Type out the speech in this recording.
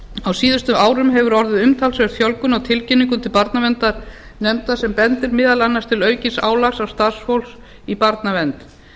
á síðustu árum hefur orðið umtalsverð fjölgun á tilkynningum til barnaverndarnefnda sem bendir meðal annars til aukins álags á starfsfólk í barnavernd